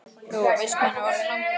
Lóa: Veistu hvað hann er orðinn langur?